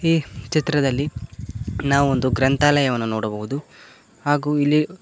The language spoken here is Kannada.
ಈ ಚಿತ್ರದಲ್ಲಿ ನಾವೊಂದು ಗ್ರಂಥಾಲಯವನ್ನು ನೋಡಬಹುದು ಹಾಗು ಇಲ್ಲಿ--